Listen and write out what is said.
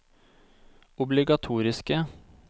obligatoriske